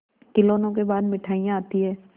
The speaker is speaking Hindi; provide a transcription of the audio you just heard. खिलौनों के बाद मिठाइयाँ आती हैं